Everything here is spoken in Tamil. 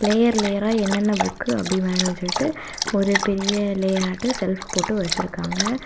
லேயர் லேயரா என்னென்ன புக் அப்படியே மேல வச்சுட்டு ஒரு பெரிய லேயாட்டு செல்ப் போட்டு வச்சிருக்காங்க.